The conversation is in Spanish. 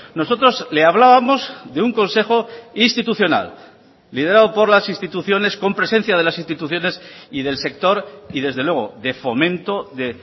nosotros le hablábamos de un consejo institucional liderado por las instituciones con presencia de las instituciones y del sector y desde luego de fomento de